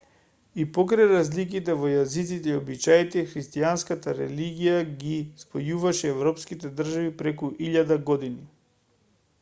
и покрај разликите во јазиците и обичаите христијанската религија ги спојуваше европските држави преку илјада години